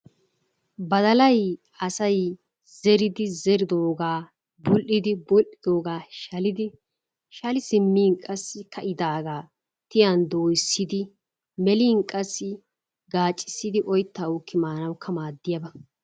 Badallay asay zeridi zeridogga bul'di bul'idogga shalidi shali simmin qassi ka'idaaga tiyaan doyssidi melin qassi gaacisidi oyttaa uuki maanakka madiyaaba.